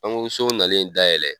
Pankurusow nalen dayɛlɛ